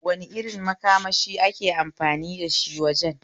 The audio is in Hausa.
Wane irin makamashi ake amfani dashi wajen?